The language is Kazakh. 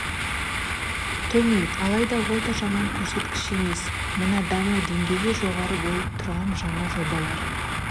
төмен алайда ол да жаман көрсеткіш емес мына даму деңгейі жоғары болып тұрған жаңа жобалар